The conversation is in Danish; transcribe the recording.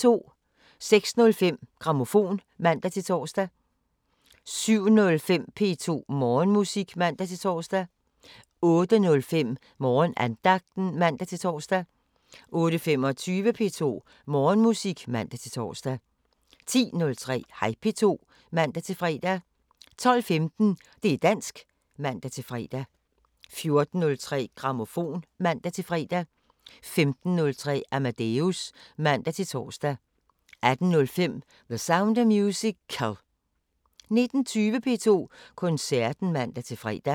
06:05: Grammofon (man-tor) 07:05: P2 Morgenmusik (man-tor) 08:05: Morgenandagten (man-tor) 08:25: P2 Morgenmusik (man-tor) 10:03: Hej P2 (man-fre) 12:15: Det´ dansk (man-fre) 14:03: Grammofon (man-fre) 15:03: Amadeus (man-tor) 18:05: The Sound of Musical 19:20: P2 Koncerten (man-fre)